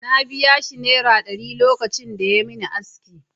Na biya shi Naira ɗari lokacin da yayi min aski.